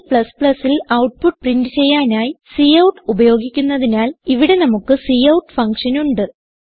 C ൽ output print ചെയ്യാനായി cout ഉപയോഗിക്കുന്നതിനാൽ ഇവിടെ നമുക്ക് കൌട്ട് ഫങ്ഷൻ ഉണ്ട്